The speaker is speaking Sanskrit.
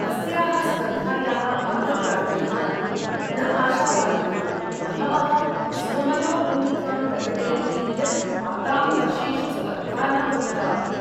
अस्याः स्पर्धायाः भागग्राहिणः तु न आशावादिनः, बहवः स्वमनोभूमिकां प्रकटयन्ति यत् आगामिवर्षेषु स्पर्धा न भविता इति।